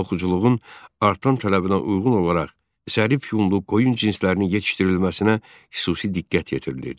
Toxuculuğun artan tələbinə uyğun olaraq zərif yunlu qoyun cinslərinin yetişdirilməsinə xüsusi diqqət yetirilirdi.